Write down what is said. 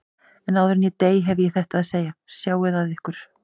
En áður en ég dey hef ég þetta að segja: Sjáið að ykkur.